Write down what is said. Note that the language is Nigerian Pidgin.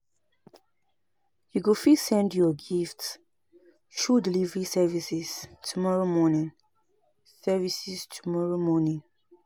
You go fit send your gifts through delivery services tomorrow morning services tomorrow morning